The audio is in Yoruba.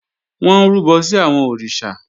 Wọ́n ń rúbọ sí àwọn òrìṣà